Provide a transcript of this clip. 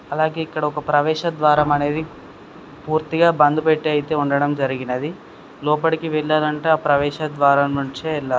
అలాగే ఇక్కడ ఒక ప్రవేశ ద్వారం అనేది పూర్తి గా బంద్ పెట్టి అయితే జరగడం జరిగినది లోపలికి వెళ్ళాలంటే ఆ ప్రవేశ ద్వారం నుంచి వెళ్ళా --